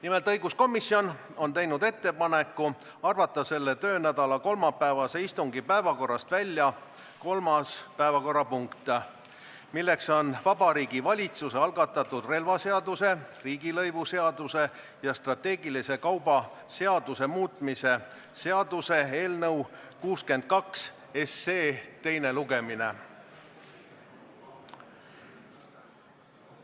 Nimelt, õiguskomisjon on teinud ettepaneku arvata selle töönädala kolmapäevase istungi päevakorrast välja 3. päevakorrapunkt, milleks on Vabariigi Valitsuse algatatud relvaseaduse, riigilõivuseaduse ja strateegilise kauba seaduse muutmise seaduse eelnõu teine lugemine.